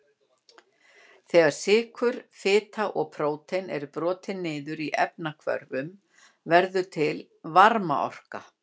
Þegar sykur, fita og prótín eru brotin niður í efnahvörfum verður til varmaorka.